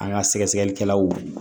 An ka sɛgɛsɛgɛlikɛlaw